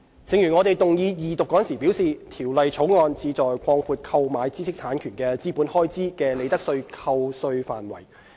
正如我們動議二讀時表示，《條例草案》旨在擴闊購買知識產權的資本開支的利得税扣稅範圍。